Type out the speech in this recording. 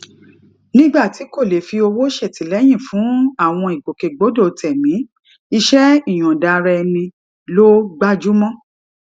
nígbà tí kò lè fi owó ṣètìléyìn fún àwọn ìgbòkègbodò tèmí iṣé ìyòǹda ara ẹni ló gbájú mó